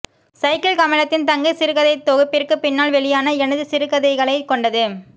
cycle கமலத்தின் தங்கை சிறுகதைத்தொகுப்பிற்கு பின்னால் வெளியான எனது சிறுகதைகளைக் கொண்டது